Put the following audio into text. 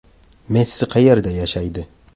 Messi qayerda yashaydi?